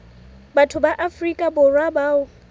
batho ba afrika borwa bao